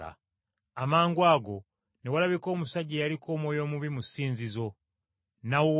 Amangwago ne walabika omusajja eyaliko omwoyo omubi mu ssinzizo, n’awowoggana,